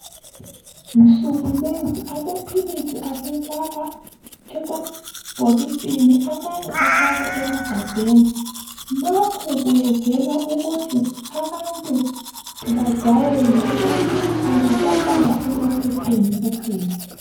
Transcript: Nsuku lezi amaphilisi asefakwa emabhokisini amanye afakwa emagabheni. Lokhu kwenzelwa abantu ukuthi bajayele ukuthi akasafakwa emaphepheni kuphela.